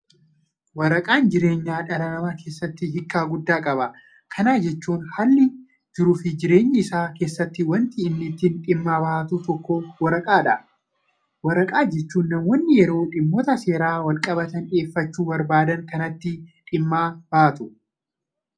Waraqaan jireenya dhala namaa keessatti hiika guddaa qaba. Kana jechuun haala jiruufi jireenya isaa keessatti wanti inni ittiin dhimma bahatu tokko waraqaadha. Kana jechuun namoonni yeroo dhimmoota seeraan walqabatan dhiyeeffachuu barbaadan kanatti dhimma bahatu.